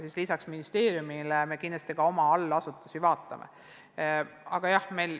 Nii et lisaks ministeeriumile me kindlasti ka oma allasutusi analüüsime.